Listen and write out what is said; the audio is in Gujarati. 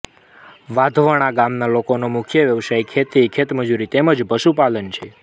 વાધવણા ગામના લોકોનો મુખ્ય વ્યવસાય ખેતી ખેતમજૂરી તેમ જ પશુપાલન છે